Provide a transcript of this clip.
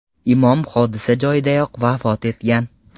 Imom hodisa joyidayoq vafot etgan.